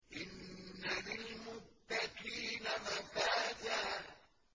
إِنَّ لِلْمُتَّقِينَ مَفَازًا